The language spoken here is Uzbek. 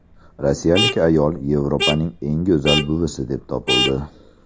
Rossiyalik ayol Yevropaning eng go‘zal buvisi deb topildi.